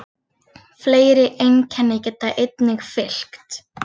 Fleiri einkenni geta einnig fylgt.